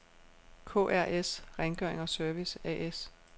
KRS. Rengøring og Service A/S